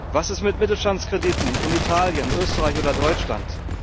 Was ist mit Mittelstandskrediten in Italien, Österreich oder Deutschland?